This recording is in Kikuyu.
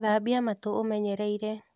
Thambia matũ ũmenyereire